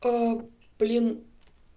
блин